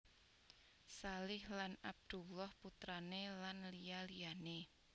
Shalih Lan Abdullah putrane lan liya liyane